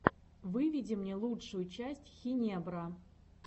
выведи мне лучшую часть хинебро